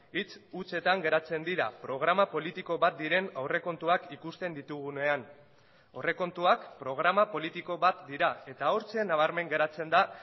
hitz hutsetan geratzen dira programa politiko bat diren aurrekontuak ikusten ditugunean aurrekontuak programa politiko bat dira eta hortzen nabarmen geratzen da